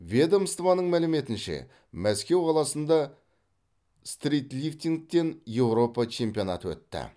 ведомствоның мәліметінше мәскеу қаласында стритлифтингтен еуропа чемпионаты өтті